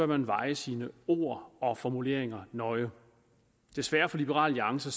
man veje sine ord og formuleringer nøje desværre for liberal alliance